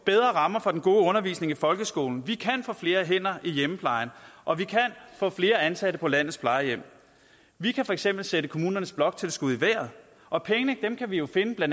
bedre rammer for den gode undervisning i folkeskolen vi kan få flere hænder i hjemmeplejen og vi kan få flere ansatte på landets plejehjem vi kan for eksempel sætte kommunernes bloktilskud i vejret og pengene kan vi jo finde ved